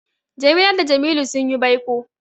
Jamila da Jamilu sun yi baiko.